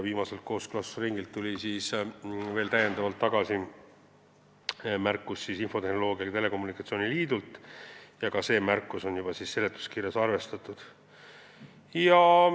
Viimaselt kooskõlastusringilt tuli veel täiendavalt märkus infotehnoloogia ja telekommunikatsiooni liidult ja ka seda märkust on seletuskirjas arvestatud.